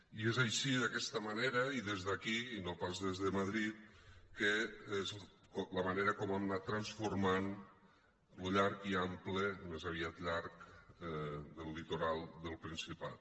i és així d’aquesta manera i des d’aquí i no pas des de madrid la manera com hem anat transformant lo llarg i ample més aviat llarg del litoral del principat